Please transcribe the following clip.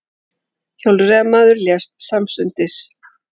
Hjólreiðamaður lést samstundis